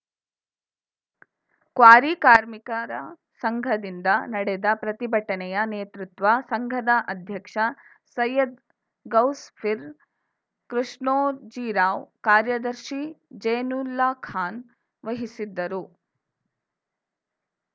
quarry ಕಾರ್ಮಿಕರ ಸಂಘದಿಂದ ನಡೆದ ಪ್ರತಿಭಟನೆಯ ನೇತೃತ್ವ ಸಂಘದ ಅಧ್ಯಕ್ಷ ಸೈಯ್ಯದ್‌ ಗೌಸ್‌ಫೀರ್‌ ಕೃಷ್ಣೋಜಿರಾವ್‌ ಕಾರ್ಯದರ್ಶಿ ಜೈನುಲ್ಲಾಖಾನ್‌ ವಹಿಸಿದ್ದರು